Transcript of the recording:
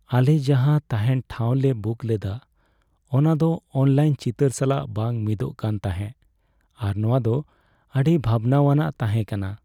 ᱟᱞᱮ ᱡᱟᱦᱟᱸ ᱛᱟᱦᱮᱸᱱ ᱴᱷᱟᱶ ᱞᱮ ᱵᱩᱠ ᱞᱮᱫᱟ , ᱚᱱᱟ ᱫᱚ ᱚᱱᱞᱟᱭᱤᱱ ᱪᱤᱛᱟᱹᱨ ᱥᱟᱞᱟᱜ ᱵᱟᱝ ᱢᱤᱫᱚᱜ ᱠᱟᱱ ᱛᱟᱦᱮᱸᱜ ᱟᱨ ᱱᱚᱶᱟ ᱫᱚ ᱟᱹᱰᱤ ᱵᱷᱟᱵᱽᱱᱟᱣᱟᱱ ᱛᱟᱦᱮᱸ ᱠᱟᱱᱟ ᱾